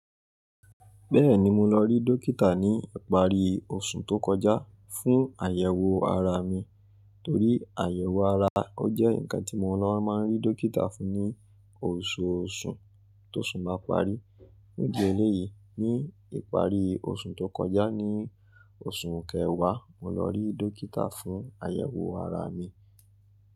Bẹ́ẹ̀ni, mo lọ rí dókítà ní ìparí oṣù tó kọjá fún àyẹ̀wò ara mi, torí àyẹ̀wò ara jẹ́ nǹkan tí mo ń lọ máa ń rí dókítà fún ní oṣooṣù tó sù bá parí. Ní ìdí eléyìí, ní ìparí oṣù tó kọjá ni oṣù kẹwàá, mo lọ rí dókítà fún àyẹ̀wò ara mi.